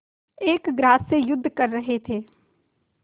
एक ग्रास से युद्ध कर रहे थे